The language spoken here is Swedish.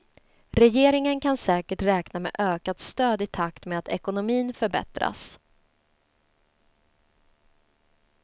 Regeringen kan säkert räkna med ökat stöd i takt med att ekonomin förbättras.